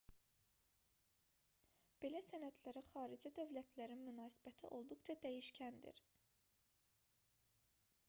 belə sənədlərə xarici dövlətlərin münasibəti olduqca dəyişkəndir